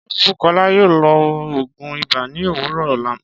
Ṣé Bukola yóò lo òògùn ibà ni òwúrọ̀ ọla?